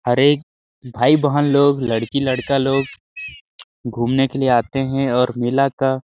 अरे भाई-बहन लोग लड़की -लड़का लोग घूमने के लिए आते है और मेला का --